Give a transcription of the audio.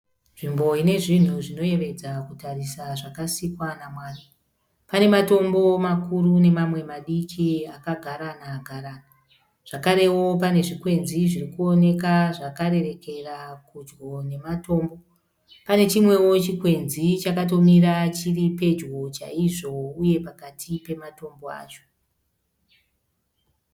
Nzvimbo inezvinhu zvinoyevedza kutarisa zvakasikwa namwari. Pane matombo makuru nemamwe madiki akagarana garana. Zvakarewo pane zvikwenzi zviri kuonekwa zvakarerekera pedyo nematombo. Pane chimwe chikwenzi chakatomira chiri pedyo chaizvo uye pakati pematombo acho.